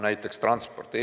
Näiteks transpordi puhul.